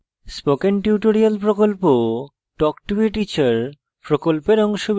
spoken tutorial প্রকল্পtalk to a teacher প্রকল্পের অংশবিশেষ